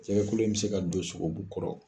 Jɛgɛkolo in bɛ se ka don sogobu kɔrɔ